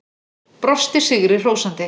Brosti sigri hrósandi.